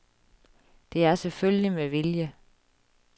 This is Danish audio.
Det er selvfølgelig med vilje.